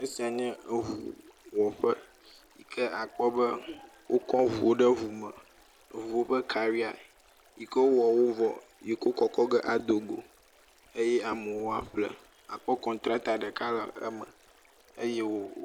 Esia nye ŋuwɔƒe, ke akpɔ be wokɔ ŋuwo ɖe ŋu me, ŋuwo ƒe karia yi ke wowɔ wo vo yi ke wokɔkɔ ge ado go eye amewo aƒle. Akpɔ kɔntratɔ ɖeka le eme eye wo …